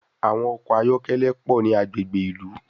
Àwọn ọkọ̀ ayọ́kẹ́lẹ́ pọ̀ ní agbègbè ìlú